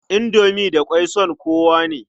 Indomi da ƙwai son kowa ne.